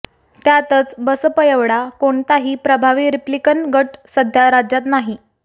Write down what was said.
त्यातच बसपएवढा कोणताही प्रभावी रिपब्लिकन गट सध्या राज्यात नाही